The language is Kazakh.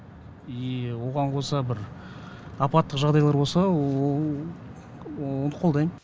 и оған қоса бір апаттық жағдайлар болса оны қолдайм